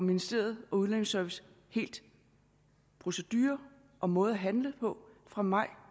ministeriet og udlændingeservice helt procedure og måde at handle på fra maj